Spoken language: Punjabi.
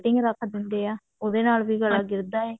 cutting ਰੱਖ ਦਿੰਦੇ ਆ ਉਹਦੇ ਨਾਲ ਵੀ ਗਲਾ ਗਿਰਦਾ ਹੈ